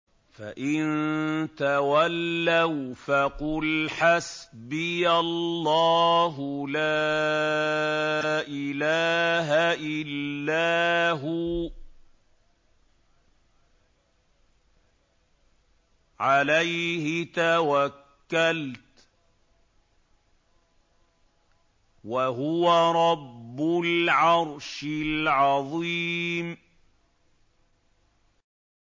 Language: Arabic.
فَإِن تَوَلَّوْا فَقُلْ حَسْبِيَ اللَّهُ لَا إِلَٰهَ إِلَّا هُوَ ۖ عَلَيْهِ تَوَكَّلْتُ ۖ وَهُوَ رَبُّ الْعَرْشِ الْعَظِيمِ